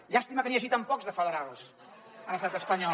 llàstima que n’hi hagi tan pocs de federals a l’estat espanyol